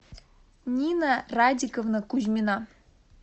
нина радиковна кузьмина